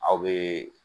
Aw bee